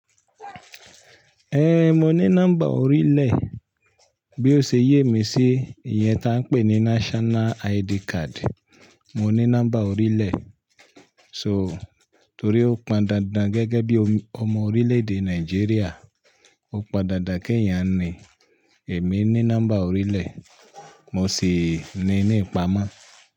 Eh, mo ní nọ́mbà orílẹ̀. Bí ó ṣe yé mi sí iye tí a ń pè ní National ID card. Mo ní nọ́mbà orílẹ̀. So, torí ó pan dandan gẹ́gẹ́ bí ọmọ orílẹ̀-èdè Nàìjíríà. Ó pan dandan kí èèyàn ní, èmi ní nọ́mbà orílẹ̀. Mo sì ní ni ìpamọ́